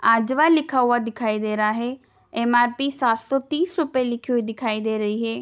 अज्वा लिखा हुआ दिखाई दे रहा है एम.आर.पी सात सौ तीस रुपये लिखी हुई दिखाई दे रही है।